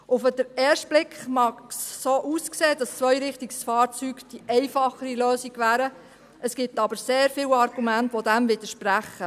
Auf den ersten Blick mögen die Zweirichtungsfahrzeuge die einfachere Lösung wären, es gibt aber sehr viele Argumente, die dem widersprechen.